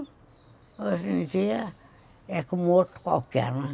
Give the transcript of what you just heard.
Hoje em dia é como outro qualquer, né?